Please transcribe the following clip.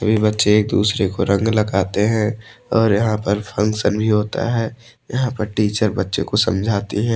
सभी बच्चे एक दूसरे को रंग लगाते हैं और यहां पर फंक्शन भी होता है यहां पर टीचर बच्चों को समझाती हैं।